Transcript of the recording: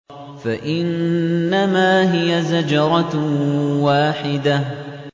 فَإِنَّمَا هِيَ زَجْرَةٌ وَاحِدَةٌ